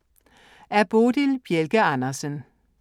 Af Bodil Bjelke Andersen